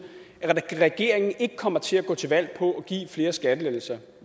at regeringen ikke kommer til at gå til valg på at give flere skattelettelser